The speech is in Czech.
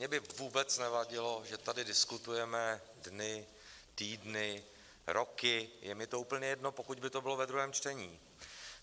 Mně by vůbec nevadilo, že tady diskutujeme dny, týdny, roky, je mi to úplně jedno, pokud by to bylo ve druhém čtení.